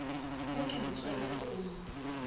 mo ke motswalagwe o mo